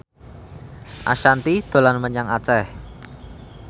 Ashanti dolan menyang Aceh